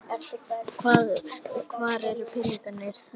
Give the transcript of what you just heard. Hvað, hvar eru peningarnir þar sem að áttu að vera í það?